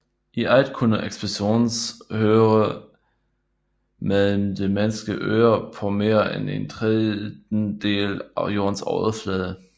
I alt kunne eksplosionen høres med det menneskelige øre på mere end en trettendedel af Jordens overflade